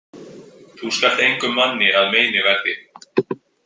Þú skalt engum manni að meini verði.